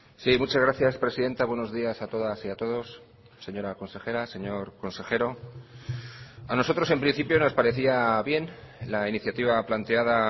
sí muchas gracias presidenta buenos días a todas y a todos señora consejera señor consejero a nosotros en principio nos parecía bien la iniciativa planteada